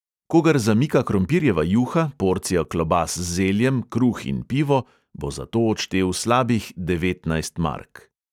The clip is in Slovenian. Kogar zamika krompirjeva juha, porcija klobas z zeljem, kruh in pivo, bo za to odštel slabih devetnajst mark.